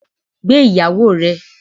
Gbé Ìyàwó ẹ.